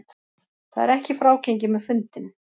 Það er ekki frágengið með fundinn